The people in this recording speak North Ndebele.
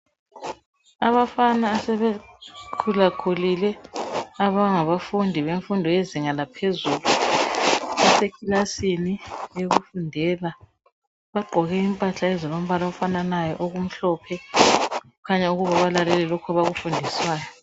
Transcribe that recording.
Abafana asebe khulakhulile abangaba fundi bemfundo yazinga laphezulu, basekilasini yokufundela bagqoke impahla ezilombala ofananayo okumhlophe, kukhanya ukuba balalele lokhu abakufundiswayo.